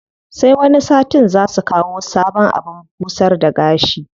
Sai wani satin zaa su kawo sabon abin busar da gashi.